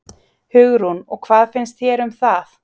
Hugrún: Og hvað finnst þér um það?